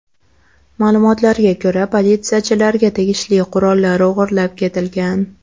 Ma’lumotlarga ko‘ra, politsiyachilarga tegishli qurollar o‘g‘irlab ketilgan.